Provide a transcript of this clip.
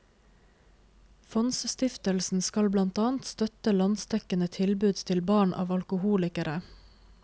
Fondsstiftelsen skal blant annet støtte landsdekkende tilbud til barn av alkoholikere.